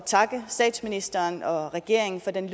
takke statsministeren og regeringen for den